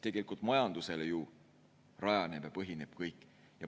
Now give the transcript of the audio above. Tegelikult majandusel ju rajaneb ja põhineb kõik.